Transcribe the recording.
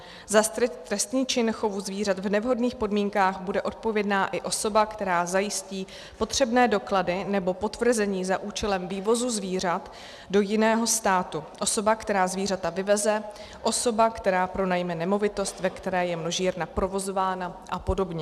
Za trestný čin chovu zvířat v nevhodných podmínkách bude odpovědná i osoba, která zajistí potřebné doklady nebo potvrzení za účelem vývozu zvířat do jiného státu, osoba, která zvířata vyveze, osoba, která pronajme nemovitost, ve které je množírna provozována, a podobně.